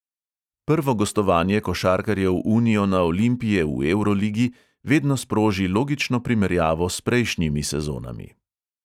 Prvo gostovanje košarkarjev uniona olimpije v evroligi vedno sproži logično primerjavo s prejšnjimi sezonami.